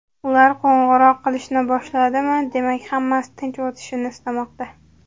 Ular qo‘ng‘iroq qilishni boshladimi, demak, hammasi tinch o‘tishini istamoqda.